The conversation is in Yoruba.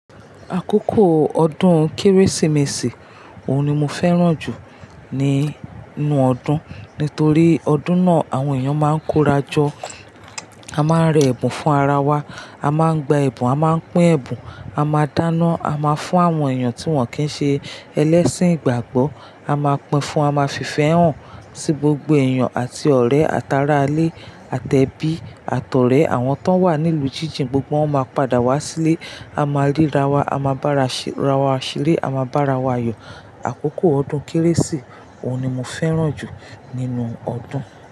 Àkókò ọdún Kérésìmesì òun ni mo fẹ́ràn jù nínú ọdún, nítorí ọdún náà àwọn èèyàn máa ń kórajọ, a máa ń rẹ ẹ̀bùn fún ara wa, a máa ń gba ẹ̀bùn, a máa ń pín ẹ̀bùn, a máa dáná, a máa fún àwọn èèyàn tí wọ́n kì í ṣe ẹlẹ́ṣin ìgbàgbọ́, a máa pín fún, a máa fi ìfẹ́ hàn sí gbogbo èèyàn àti ọ̀rẹ́, tára alẹ́, àtẹ bí, àtọ̀rẹ àwọn tó wà nílùú jíjìn gbogbo wọn máa padà wá sílé, a máa ríra wa, a máa bára wa ṣeré, a máa bá ara wa yọ. Àkókò ọdún Kérésì òun ni mo fẹ́ràn jù nínú ọdún.